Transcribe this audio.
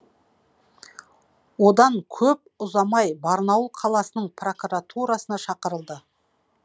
одан көп ұзамай барнаул қаласының прокуратурасына шақырылды